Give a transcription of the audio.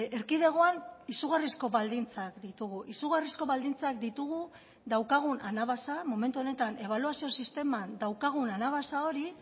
erkidegoan izugarrizko baldintzak ditugu izugarrizko baldintzak ditugu daukagun anabasa momentu honetan ebaluazio sisteman daukagun anabasa hori